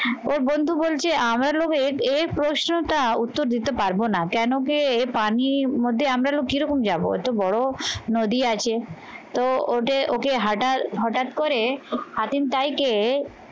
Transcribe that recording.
ওর বন্ধু বলছে আমরা লোভে এর প্রশ্নটা উত্তর দিতে পারবো না কেন কি মধ্যে আমরা লোক কিরকম যাবো? একটা বড়ো নদী আছে তো ওদের ওকে হাটা হঠাৎ করে হাতিম টাইকে